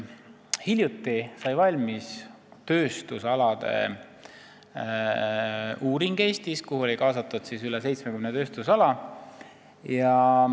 Hiljuti sai valmis Eesti tööstusalade uuring, kuhu oli kaasatud üle 70 tööstusala.